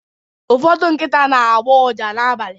ụfọdụ nkịta na-agbọ ụja n’abalị